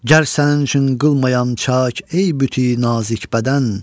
Gəl sənin üçün qılmayan çak, ey büt-i nazik bədən.